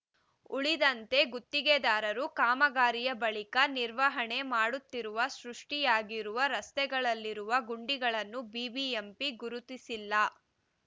ಉಳಿದಂತೆ ಗುತ್ತಿಗೆದಾರರು ಕಾಮಗಾರಿಯ ಬಳಿಕ ನಿರ್ವಹಣೆ ಮಾಡುತ್ತಿರುವ ಸೃಷ್ಟಿಯಾಗಿರುವ ರಸ್ತೆಗಳಲ್ಲಿರುವ ಗುಂಡಿಗಳನ್ನು ಬಿಬಿಎಂಪಿ ಗುರುತಿಸಿಲ್ಲ